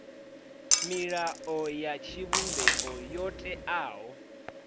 milayo ya tshivhumbeo yo teaho